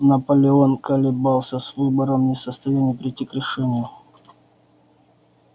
наполеон колебался с выбором не в состоянии прийти к решению